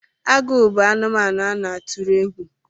Agụ bụ anụmanụ a na-atụrụ egwu